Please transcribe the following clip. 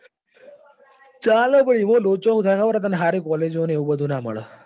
ચાલે પણ પણ એમાં લોચો શું થાય ખબર તને સારી collage ને એવું બધું નાં મળે.